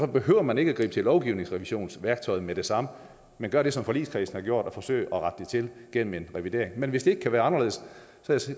behøver man ikke at gribe til lovgivningsrevisionsværktøjet med det samme men gøre det som forligskredsen har gjort nemlig at forsøge at rette det til gennem en revidering men hvis det ikke kan være anderledes